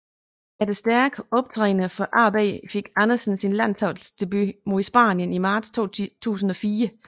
Efter stærke optrædender for AB fik Andersen sin landsholdsdebut mod Spanien i marts 2004